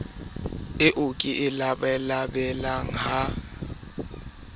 eo ke e labalabelang ha